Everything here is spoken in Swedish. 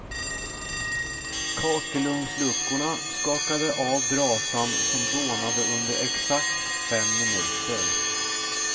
Kakelugnsluckorna skakade av brasan som dånade under exakt fem minuter.